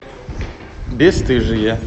бесстыжие